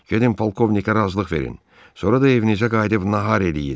Gedin polkovnikə razılıq verin, sonra da evinizə qayıdıb nahar eləyin.